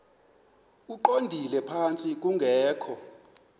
eqondele phantsi kungekho